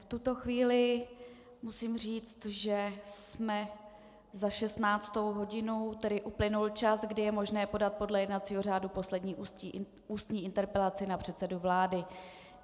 V tuto chvíli musím říct, že jsme za 16. hodinou, tedy uplynul čas, kdy je možné podat podle jednacího řádu poslední ústní interpelaci na předsedu vlády.